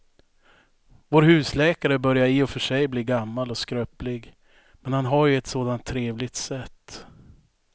Vår husläkare börjar i och för sig bli gammal och skröplig, men han har ju ett sådant trevligt sätt!